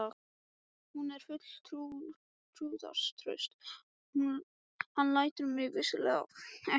Hún var full trúnaðartrausts: hann lætur mig vissulega ekki farast.